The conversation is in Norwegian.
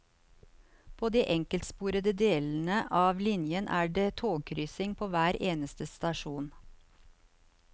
På de enkeltsporede delene av linjen er det togkryssing på hver eneste stasjon.